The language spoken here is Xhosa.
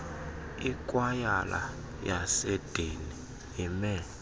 ikwayala yaseedeni ime